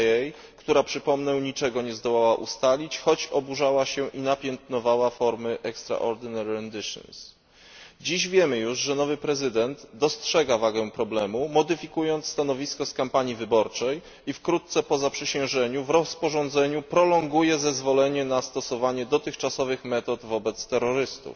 CIA, która, jak przypomnę, niczego nie zdołała ustalić, choć oburzała się i napiętnowała formy Dziś wiemy już, że nowy prezydent dostrzega wagę problemu, modyfikując stanowisko z kampanii wyborczej i wkrótce po zaprzysiężeniu w rozporządzeniu prolonguje zezwolenie na stosowanie dotychczasowych metod wobec terrorystów.